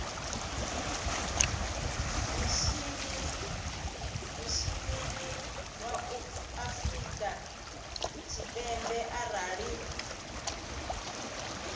mishinini wa afrika tshipembe arali